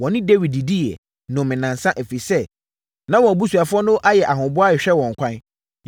Wɔne Dawid didiiɛ, nomeeɛ nnansa, ɛfiri sɛ, na wɔn abusuafoɔ no ayɛ ahoboa rehwɛ wɔn ɛkwan.